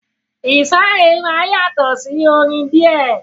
Ìsàrẹ̀ máa yàtọ̀ sí orin díẹ̀.